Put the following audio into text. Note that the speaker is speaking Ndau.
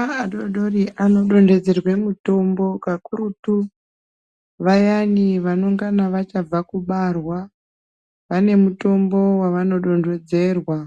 Ana adodori anodonhedzerwa mitombo kakurutu vayani vanenge vachangobva kubarwa. Vane mitombo yavanodonhedzerwa